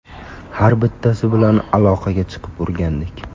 Har bittasi bilan aloqaga chiqib o‘rgandik.